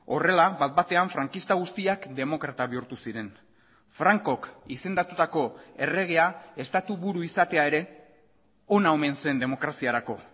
horrela bat batean frankista guztiak demokrata bihurtu ziren francok izendatutako erregea estatu buru izatea ere ona omen zen demokraziarako